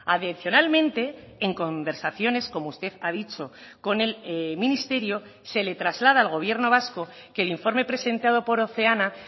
adicionalmente en conversaciones como usted ha dicho con el ministerio se le traslada al gobierno vasco que el informe presentado por oceana